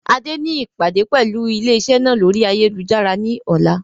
Adé ni ìpàdé pẹlu ilé iṣẹ́ náà lórí ayélujára ni ọ̀la.